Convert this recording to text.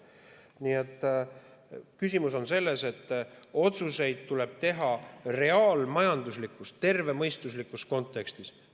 Nii et küsimus on selles, et otsuseid tuleb teha reaalmajanduslikus tervemõistuslikus kontekstis.